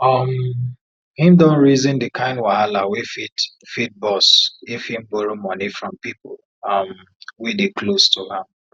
um him don reason the kind wahala wey fit fit burst if him borrow money from people um wey dey close to am